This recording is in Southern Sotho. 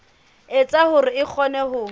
etsa hore o kgone ho